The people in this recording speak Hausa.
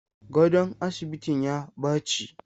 Gadon asibitin ya baci.